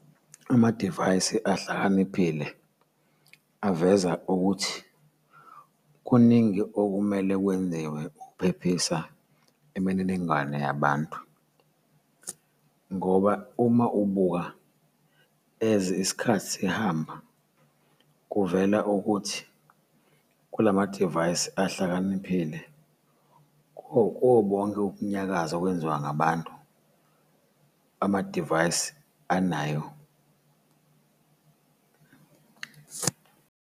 Amadivayisi ahlakaniphile aveza ukuthi kuningi okumele kwenziwe ukuphephisa imininingwane yabantu, ngoba uma ubuka as isikhathi sihamba, kuvela ukuthi kulamadivayisi ahlakaniphile kubo bonke ukunyakaza okwenziwa ngabantu, amadivayisi anayo.